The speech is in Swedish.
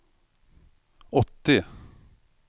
åttio